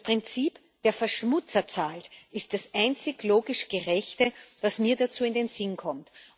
Das Prinzip Der Verschmutzer zahlt ist das einzig logisch Gerechte, was mir dazu in den Sinn kommt.